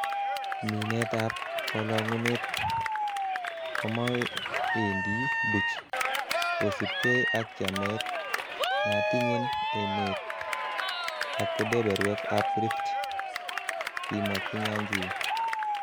'Minetab ab kolongunet komoendi buch, kosiibge ak chamet netinyen emet ak kebeberwek ab Rift,''kimwa kinyanjui